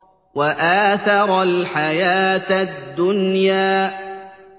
وَآثَرَ الْحَيَاةَ الدُّنْيَا